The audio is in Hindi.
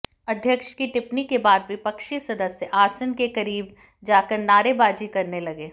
अध्यक्ष की टिप्पणी के बाद विपक्षी सदस्य आसन के करीब जाकर नारेबाजी करने लगे